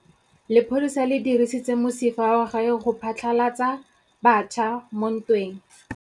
Lepodisa le dirisitse mosifa wa gagwe go phatlalatsa batšha mo ntweng.